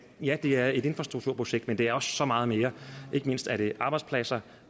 ja det er et infrastrukturprojekt men det er også så meget mere ikke mindst er det arbejdspladser